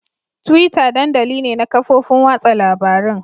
Twitter dandali ne na kafofin watsa labarun.